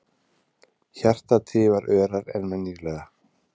Hjartað tifar örar en venjulega.